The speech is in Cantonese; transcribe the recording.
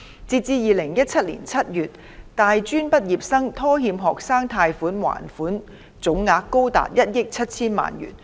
截至2017年7月，大專畢業生拖欠學生貸款還款總額高達1億 7,000 萬元。